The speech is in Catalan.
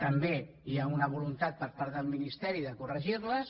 també hi ha una voluntat per part del ministeri de corregir les